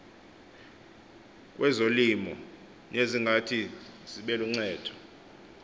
kwezolimo nezingathi zibeluncedo